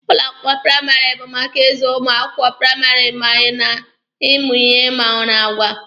Ụlọ akwụkwọ praịmarị bụ maka ịzụ ụmụ akwụkwọ praịmarị ma na ịmụ ihe ma n'agwa.